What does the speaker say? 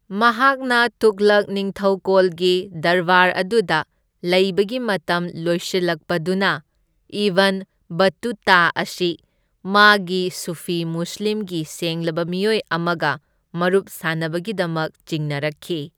ꯃꯍꯥꯛꯅ ꯇꯨꯘꯂꯛ ꯅꯤꯡꯊꯧꯀꯣꯜꯒꯤ ꯗꯔꯕꯥꯔ ꯑꯗꯨꯗ ꯂꯩꯕꯒꯤ ꯃꯇꯝ ꯂꯣꯏꯁꯤꯜꯂꯛꯄꯗꯨꯅ, ꯏꯕꯟ ꯕꯠꯇꯨꯇꯥ ꯑꯁꯤ ꯃꯥꯒꯤ ꯁꯨꯐꯤ ꯃꯨꯁꯂꯤꯝꯒꯤ ꯁꯦꯡꯂꯕ ꯃꯤꯑꯣꯏ ꯑꯃꯒ ꯃꯔꯨꯞ ꯁꯥꯅꯕꯒꯤꯗꯃꯛ ꯆꯤꯡꯅꯔꯛꯈꯤ꯫